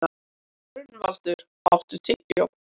Gunnvaldur, áttu tyggjó?